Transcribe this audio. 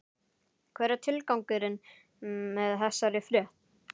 Hver er tilgangurinn með þessari frétt?